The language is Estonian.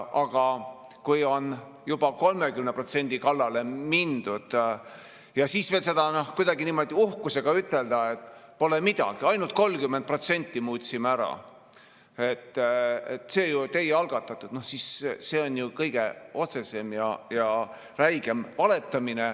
Aga kui on juba 30% kallale mindud ja siis veel kuidagi niimoodi uhkusega üteldakse, et pole midagi, ainult 30% muutsime ära, see ju teie algatatud, siis see on kõige otsesem ja räigem valetamine.